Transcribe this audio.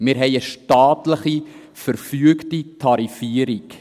Wir haben eine staatlich verfügte Tarifierung.